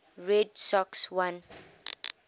red sox won